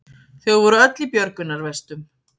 Þau voru öll í björgunarvestum